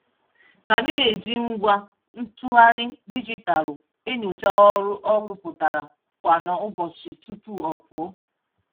K na-eji ngwa ntụgharị dijitalụ enyocha ọrụ ọ rụpụtara kwa n'ụbọchị tupu ọ pụọ.